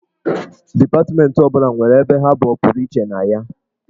Dipatmentị ọ bụla nwere ebe ha bụ ọpụrụiche na ya.